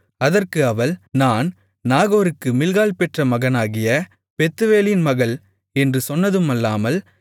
அதற்கு அவள் நான் நாகோருக்கு மில்க்காள் பெற்ற மகனாகிய பெத்துவேலின் மகள் என்று சொன்னதுமல்லாமல்